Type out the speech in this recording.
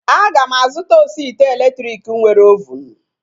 Aga m azụta osi ite elektriki nwere ovunu